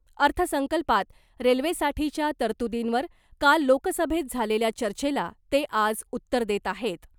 अर्थसंकल्पात रेल्वेसाठीच्या तरतुदींवर काल लोकसभेत झालेल्या चर्चेला ते आज उत्तर देत आहेत .